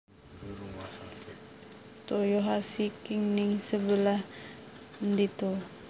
Toyohashi ki ning sebelah ndi to